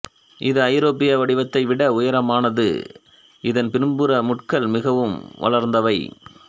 இது ஐரோப்பிய வடிவத்தை விட உயரமானது இதன் பின்புற முட்கள் மிகவும் வளர்ந்தவை